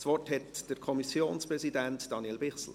Das Wort hat der Kommissionspräsident, Daniel Bichsel.